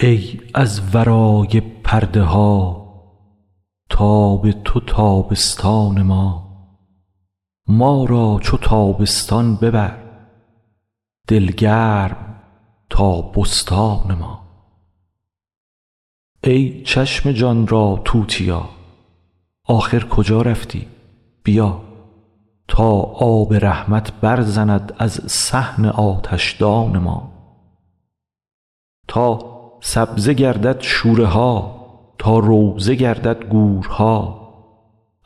ای از ورای پرده ها تاب تو تابستان ما ما را چو تابستان ببر دل گرم تا بستان ما ای چشم جان را توتیا آخر کجا رفتی بیا تا آب رحمت برزند از صحن آتشدان ما تا سبزه گردد شوره ها تا روضه گردد گورها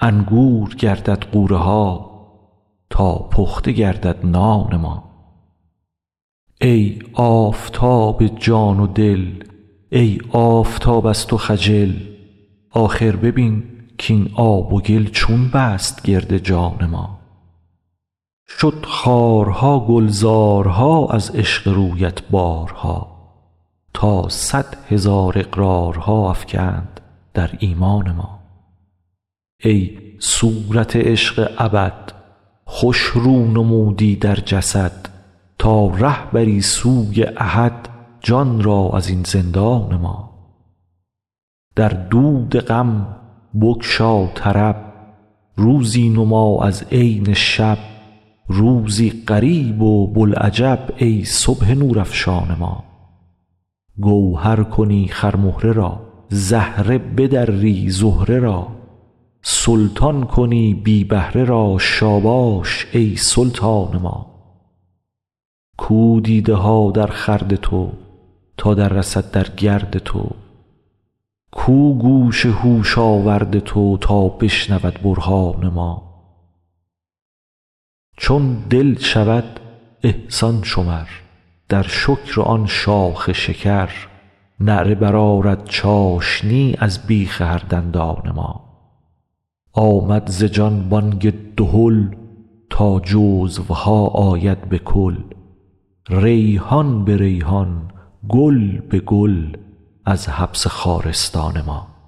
انگور گردد غوره ها تا پخته گردد نان ما ای آفتاب جان و دل ای آفتاب از تو خجل آخر ببین کاین آب و گل چون بست گرد جان ما شد خارها گلزارها از عشق رویت بارها تا صد هزار اقرارها افکند در ایمان ما ای صورت عشق ابد خوش رو نمودی در جسد تا ره بری سوی احد جان را از این زندان ما در دود غم بگشا طرب روزی نما از عین شب روزی غریب و بوالعجب ای صبح نورافشان ما گوهر کنی خرمهره را زهره بدری زهره را سلطان کنی بی بهره را شاباش ای سلطان ما کو دیده ها درخورد تو تا دررسد در گرد تو کو گوش هوش آورد تو تا بشنود برهان ما چون دل شود احسان شمر در شکر آن شاخ شکر نعره برآرد چاشنی از بیخ هر دندان ما آمد ز جان بانگ دهل تا جزوها آید به کل ریحان به ریحان گل به گل از حبس خارستان ما